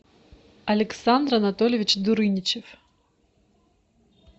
александр анатольевич дурыничев